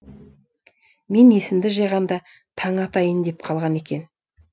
мен есімді жиғанда таң атайын деп қалған екен